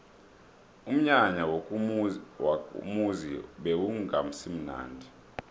umnyanya wakomuzi bewungasimunandi